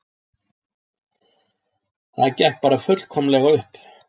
Það gekk bara fullkomlega upp